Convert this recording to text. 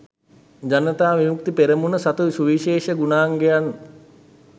ජනතා විමුක්ති පෙරමුණ සතු සුවිශේෂ ගුණාංගයන්